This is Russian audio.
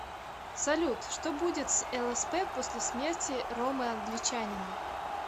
салют что будет с лсп после смерти ромы англичанина